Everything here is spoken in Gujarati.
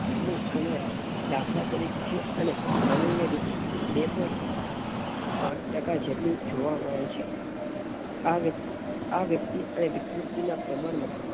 નું પ્રમાણ ડાંખળાંતરિકે અને સામાન્ય રીતે બેપોઇન્ટ પાંચ ટકા જેટલું જોવા મળે છે. આ~આ વ્યક્તિ વિકૃતિના પ્રમાણ